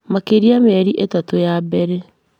Makĩria mĩeri ĩtatũ ya bere